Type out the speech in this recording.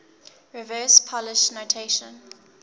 reverse polish notation